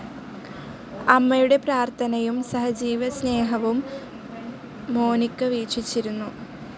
അമ്മയുടെ പ്രാർത്ഥനയും സഹജീവിസ്‌നേഹവും മോനിക്ക വീക്ഷിച്ചിരുന്നു.